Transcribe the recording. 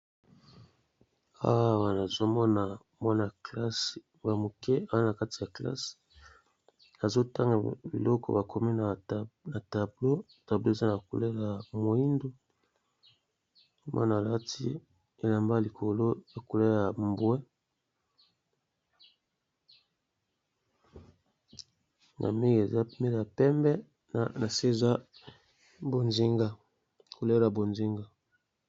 Awa nazomona bana kelasi ya muke bazotanga biloko bakomi na tableau alati likolo biloko eza na couleur ya mbwe na se eza na couleur ya bozenga.